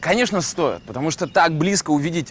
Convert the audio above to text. конечно стоит потому что так близко увидеть